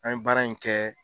An ye baara in kɛ